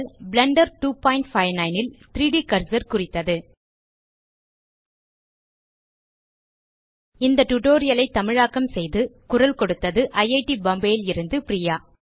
Blender 259 ல் 3ட் cursor குறித்தது இந்த tutorial ஐ தமிழாக்கம் செய்து குரல் கொடுத்தது ஐட் பாம்பே லிருந்து பிரியா